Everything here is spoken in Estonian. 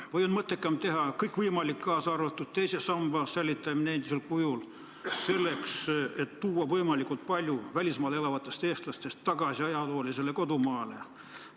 Või on mõttekam teha kõik võimalik, kaasa arvatud teise samba säilitamine endisel kujul, et tuua võimalikult palju välismaal elavaid eestlasi tagasi ajaloolisele kodumaale?